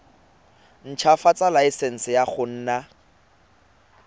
ntshwafatsa laesense ya go nna